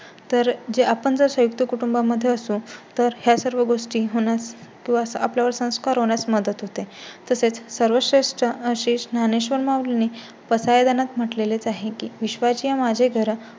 तर जे आपण संयुक्त कुटुंबा मध्ये असतो तर ह्या सर्व गोष्टी होणास किंवा आपल्या वर संस्कार होण्यास मदत होते. तसेच सर्वश्रेष्ठ ज्ञानेश्वर माऊलींनी पसायदानात म्हटलेलेच आहे की विश्वचिया माझे घर